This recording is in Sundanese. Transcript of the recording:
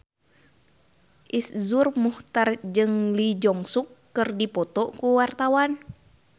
Iszur Muchtar jeung Lee Jeong Suk keur dipoto ku wartawan